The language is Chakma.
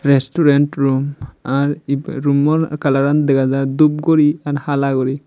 resturen rum ar ibey rummo kalaran dega jai dub guri hala guri.